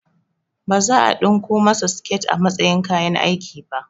Baza a ɗinko masu siket a matsayin kayan aiki ba